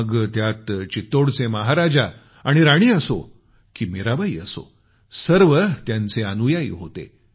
मग त्यात चित्तोडचे महाराजा आणि राणी असो की मीराबाई असो सर्व त्यांचे अनुयायी होते